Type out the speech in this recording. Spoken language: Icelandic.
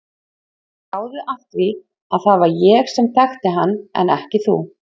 Gáðu að því að það var ég sem þekkti hann en ekki þú.